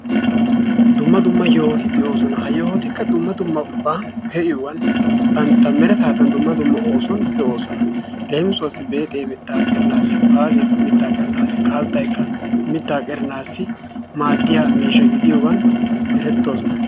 Dumma dumma yohoti de'oosona. Ha yohotikka dumma dummaban pe'iyogan bantta meretadan dumma dummaban pe'oosona. Leemisuwassi beexe mitta qeranassi, paassekka mittaa qeranassi, kalttaykka mitta qeranassi issi maaddiya miishsha gidiyoogan erettoosona.